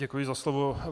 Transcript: Děkuji za slovo.